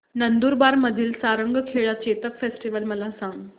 नंदुरबार मधील सारंगखेडा चेतक फेस्टीवल मला सांग